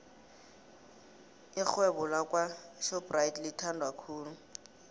ixhewebo lakwo shopxathi lithandwa khulu